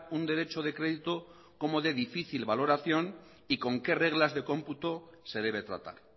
un derecho de crédito como de difícil valoración y con qué reglas de computo se debe tratar